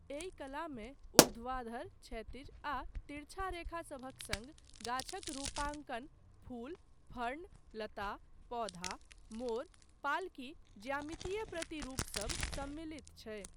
एहि कलामे ऊर्ध्वाधर, क्षैतिज आ तिरछा रेखा सभक सङ्ग गाछक रूपांकन, फूल, फर्न, लता, पौधा, मोर, पालकी, ज्यामितीय प्रतिरूप सब सम्मिलित छै।